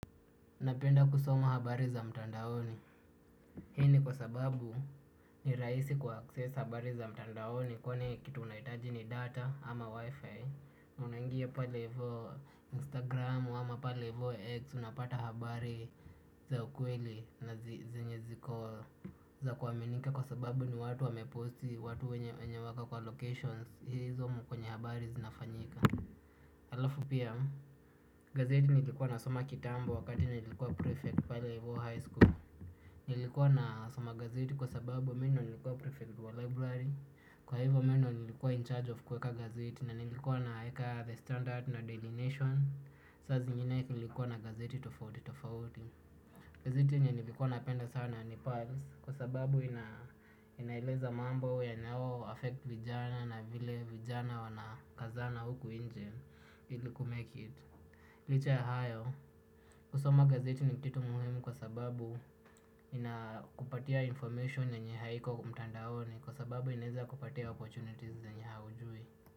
Napenda kusoma habari za mtandaoni. Hii ni kwa sababu, ni rahisi kua access habari za mtandaoni kwani kitu unaitaji ni data ama wifi. Unaingia pale ivo Instagram ama pale ivo X unapata habari za ukweli na zenye ziko za kuwaminika. Kwa sababu ni watu wameposti watu wenye wako kwa locations. Hizomu kwenye habari zinafanyika. Alafu pia, gazeti nilikuwa nasoma kitambo wakati nilikuwa prefect pale hivo high school nilikuwa na soma gazeti kwa sababu mi ndo nilikuwa prefect wa library, kwa hivyo mi ndo nilikuwa in charge of kuweka gazeti na nilikuwa naeka the standard no delination. Saa zingine nilikuwa na gazeti tofauti tofauti. Gazeti enye nilikuwa napenda sana, ni Pants kwa sababu ina inaeleza mambo yanao affect vijana na vile vijana wana kazana huku inje, ili kumake it. Licha ya hayo kusoma gazeti ni kitu muhimu kwa sababu, ina kupatia information yenye haiko mtandaoni. Kwa sababu inaeza kupatia opportunities zenye haujui.